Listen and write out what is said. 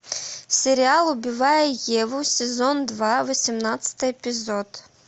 сериал убивая еву сезон два восемнадцатый эпизод